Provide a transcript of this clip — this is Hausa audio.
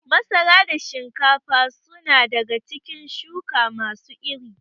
Masara da shinkafa su na daga cikin shuka ma su iri